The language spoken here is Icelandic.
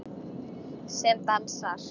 Sem dansar.